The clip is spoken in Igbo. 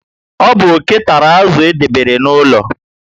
Ọ bu oke tàrà azụ edebere n'ụlọ